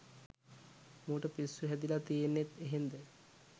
මූට පිස්සු හැදිල තියන්නෙත් එහෙන්ද?